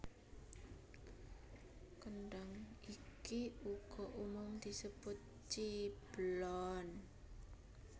Kendhang iki uga umum disebut ciblon